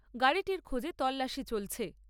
গাড়িটির খোঁজে তল্লাশি চলছে।